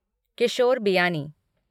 Kishore Biyani